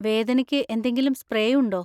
വേദനയ്ക്ക് എന്തെങ്കിലും സ്പ്രേ ഉണ്ടോ?